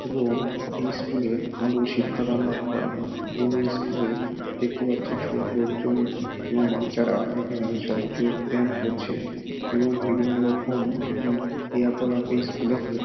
এবং এই স্কুল -এর ভালো শিক্ষা দান লাভ করা হয় এবং এই স্কুল -এ দেখতে পাচ্ছি সব লোকজন ত এবং বাচ্চারা এখানে সব যোগব্যায়াম করছে এবং বিভিন্ন রকম উম ক্রিয়াকলাপ এই স্কুল -এ হয়ে থ --